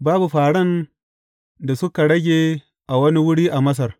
Babu fāran da suka rage a wani wuri a Masar.